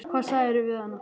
Hvað sagðirðu við hana?